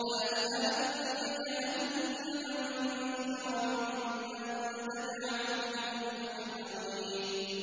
لَأَمْلَأَنَّ جَهَنَّمَ مِنكَ وَمِمَّن تَبِعَكَ مِنْهُمْ أَجْمَعِينَ